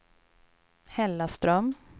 Hällaström